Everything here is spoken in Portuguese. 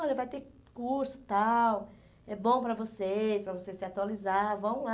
Olha, vai ter curso tal, é bom para vocês, para vocês se atualizar, vão lá.